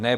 Ne.